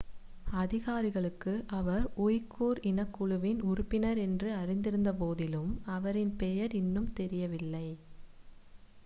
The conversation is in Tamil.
அதிகாரிகளுக்கு அவர் உய்குர் இனக் குழுவின் உறுப்பினர் என்று அறிந்திருந்த போதிலும் அவரின் பெயர் இன்னும் தெரியவில்லை